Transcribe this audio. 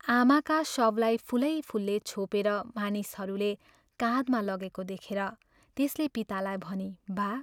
आमाका शवलाई फूलै फूलले छोपेर मानिसहरूले काँधमा लगेको देखेर त्यसले पितालाई भनी, "बा!